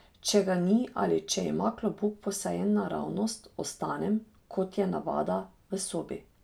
Če ga ni ali če ima klobuk posajen naravnost, ostanem, kot je navada, v sobi.